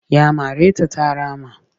Ya mare ta ta rama